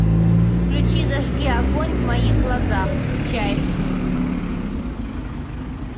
включи зажги огонь в моих глазах чайф